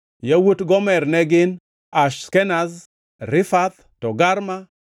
Yawuot Gomer ne gin: Ashkenaz, Rifath kod Togarma